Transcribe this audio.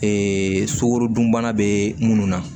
sukorodunbana bɛ munnu na